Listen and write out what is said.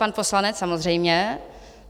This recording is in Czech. Pan poslanec samozřejmě.